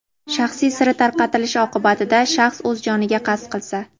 shaxsiy siri tarqatilishi oqibatida shaxs o‘z joniga qasd qilsa);.